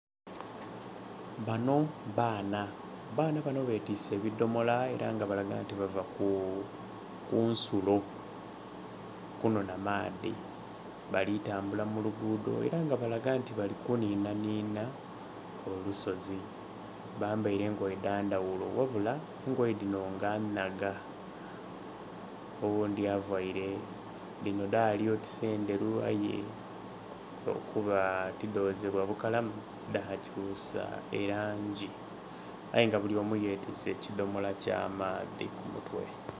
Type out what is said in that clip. Bano baana, abaana bano betiise ebidhomolo era nga balaga nti bava kunsulo kunhanha maadhi bali tambula mu luguudho eranga balaga nti bali kunhinanhina, olusozi. bambaire engoye dha ndaghulo, ghabula engoye dhino nga nhaga. Oghundi avaire, dhino dhaali oti ndheru aye olwokuba ti dozebwa bukalamu, dhakyusa erangi. Ayenga buli omu yetwise edhomolo ky'amaadhi ku mutwe.